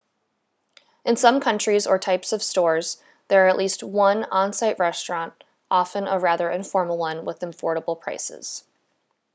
in some countries or types of stores there is at least one on-site restaurant often a rather informal one with affordable prices